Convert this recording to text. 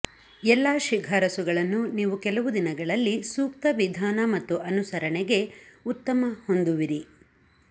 ಎಲ್ಲಾ ಶಿಫಾರಸುಗಳನ್ನು ನೀವು ಕೆಲವು ದಿನಗಳಲ್ಲಿ ಸೂಕ್ತ ವಿಧಾನ ಮತ್ತು ಅನುಸರಣೆಗೆ ಉತ್ತಮ ಹೊಂದುವಿರಿ